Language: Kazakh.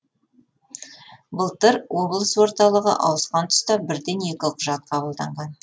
былтыр облыс орталығы ауысқан тұста бірден екі құжат қабылданған